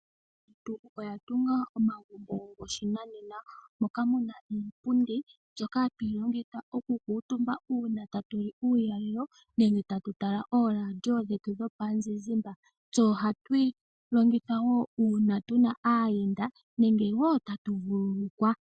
Aantu oya tunga omagumbo goshinanena, moka mu na iipundi mbyoka hatu yi longitha okukuutumba uuna tatu li uulalelo nenge tatu tala ooradio dhetu dhomuzizimba. Tse ohatu yi longitha wo uuna tu na aayenda nenge wo tatu vululukwa.